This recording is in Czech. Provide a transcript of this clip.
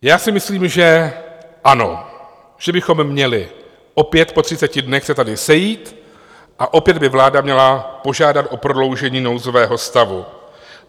Já si myslím, že ano, že bychom měli opět po 30 dnech se tady sejít a opět by vláda měla požádat o prodloužení nouzového stavu.